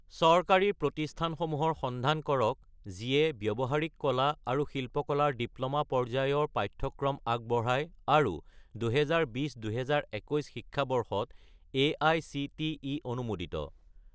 চৰকাৰী প্ৰতিষ্ঠানসমূহৰ সন্ধান কৰক যিয়ে ব্যৱহাৰিক কলা আৰু শিল্পকলা ৰ ডিপ্ল'মা পৰ্যায়ৰ পাঠ্যক্ৰম আগবঢ়ায় আৰু 2020 - 2021 শিক্ষাবৰ্ষত এআইচিটিই অনুমোদিত